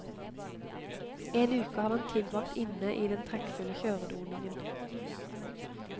En uke hadde han tilbragt inne i den trekkfulle kjøredoningen.